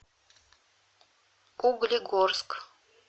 углегорск